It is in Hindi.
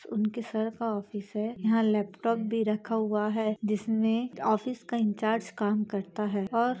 उनके सर का ऑफिस हैं यहाँ लैपटॉप भी रखा हुआ हैं जिसमें ऑफिस का इंचार्ज काम करता हैं और--